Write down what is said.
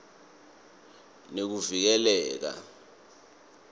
nekuvikela